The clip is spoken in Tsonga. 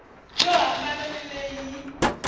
yo hambana ni leyi yi